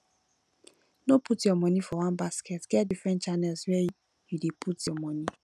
no put your monie for one basket get different channels where you dey put your monie